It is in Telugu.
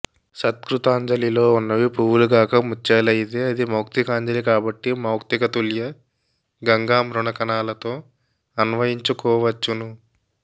సత్కృతాంజలిలో ఉన్నవి పువ్వులు గాక ముత్యాలయితే అది మౌక్తికాంజలి కాబట్టి మౌక్తికతుల్యగంగాంబుకణాలతో అన్వయించుకోవచ్చును